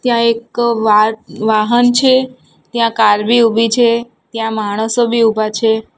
ત્યાં એક વા વાહન છે ત્યાં કાર બી ઉભી છે ત્યાં માણસો બી ઊભા છે.